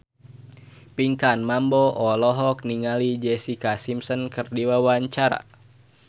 Pinkan Mambo olohok ningali Jessica Simpson keur diwawancara